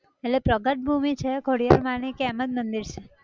એટલે પ્રગટ ભૂમિ છે ખોડિયાર માંની કે એમ જ મંદિર છે?